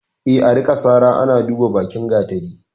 E, a rika sara ana duban bakin gatari.